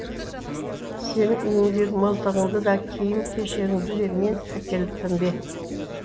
сенің үйіңдегі мылтығыңды да киім кешегіңді де мен әкеліппін бе